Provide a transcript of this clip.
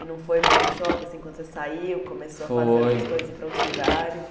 E não foi meio um choque, assim, quando você saiu, começou Foi A fazer outras coisas ir para outros lugares?